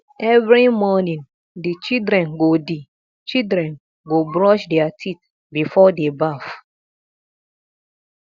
every morning di children go di children go brush their teeth before dey baff